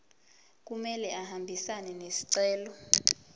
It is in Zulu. kumele ahambisane nesicelo